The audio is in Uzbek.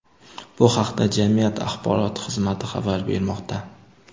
Bu haqda jamiyat axborot xizmati xabar bermoqda.